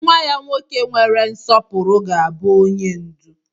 Nwa ya nwoke nwere nsọpụrụ ga-abụ onye ndú.